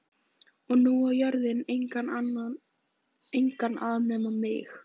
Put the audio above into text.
Og nú á jörðin engan að nema mig.